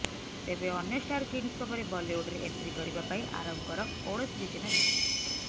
ତେବେ ଅନ୍ୟ ଷ୍ଟାର କିଡସଙ୍କ ପରି ବଲିଉଡରେ ଏଣ୍ଟ୍ରି କରିବା ପାଇଁ ଆରବଙ୍କର କୌଣସି ଯୋଜନା ରହିନାହିଁ